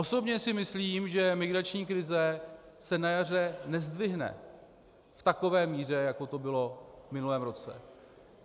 Osobně si myslím, že migrační krize se na jaře nezdvihne v takové míře, jako to bylo v minulém roce.